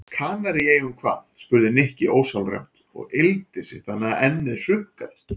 Kanaríeyjum hvað? spurði Nikki ósjálfrátt og yggldi sig þannig að ennið hrukkaðist.